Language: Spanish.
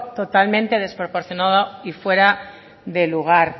totalmente desproporcionado y fuera de lugar